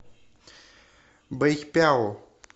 бэйпяо